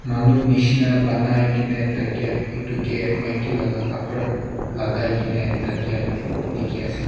manu misna bonai kena thekiya etu ke maiki laga kapra lagai kina thakiya dekhi ase.